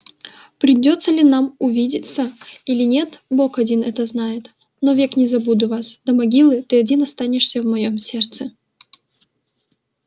придётся ли нам увидеться или нет бог один это знает но век не забуду вас до могилы ты один останешься в моем сердце